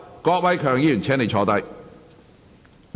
郭偉强議員，請坐下。